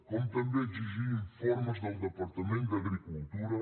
com també exigir informes del departament d’agricultura